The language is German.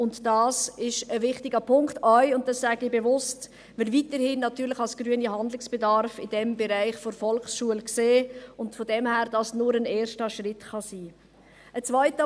Dies ist ein wichtiger Punkt, auch wenn wir – das sage ich bewusst – als Grüne weiterhin Handlungsbedarf in diesem Bereich, der Volksschule, sehen, und dies deshalb nur ein erster Schritt sein kann.